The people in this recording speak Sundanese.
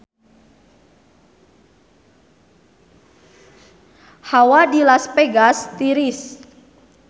Hawa di Las Vegas tiris